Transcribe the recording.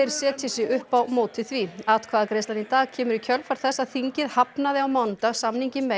setji sig upp á móti því atkvæðagreiðslan í dag kemur í kjölfar þess að þingið hafnaði síðasta mánudag samningi